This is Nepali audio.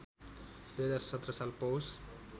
२०१७ साल पौष